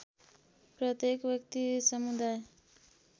प्रत्येक व्यक्ति समुदाय